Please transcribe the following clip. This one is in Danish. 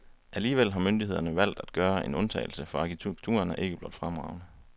Alligevel har myndighederne valgt at gøre en undtagelse, for arkitekturen er ikke blot fremragende.